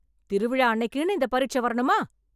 திருவிழா அன்னைக்குன்னு இந்த பரீட்சை வரணுமா?